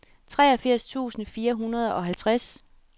treogfirs tusind fire hundrede og halvtreds